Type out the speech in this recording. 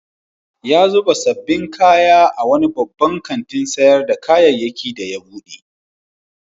Ya zuba sabbin kaya a wani babban kantin sayar da kayyaki da ya bude.